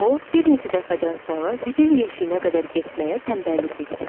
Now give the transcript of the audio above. O bir neçə dəfədən sonra zibil yeşiyinə qədər getməyə tənbəllik etdi.